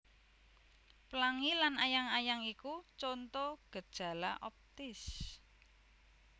Plangi lan ayang ayang iku conto gejala optis